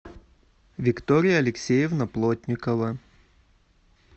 виктория алексеевна плотникова